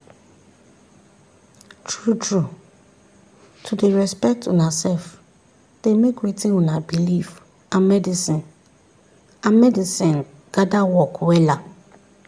true trueto dey respect una sef dey make wetin una believe and medicine and medicine gather work wella.